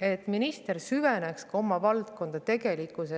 et minister süveneks oma valdkonda tegelikult,